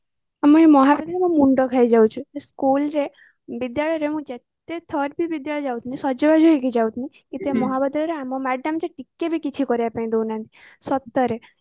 ଆମେ ମହାବିଦ୍ୟାଳୟରେ school ରେ ବିଦ୍ୟାଳୟରେ ମୁଁ ଯେତେ ଥରବି ବିଦ୍ୟାଳୟକୁ ଯାଉଥିଲି ସଜବାଜ ହେଇକି ଯାଉଥିଲି ଏଠି ମହାବିଦ୍ୟାଳୟରେ ଆମ madam ଟିକେବି କିଛି କରିବାକୁ ଦଉନାହାନ୍ତି ସତରେ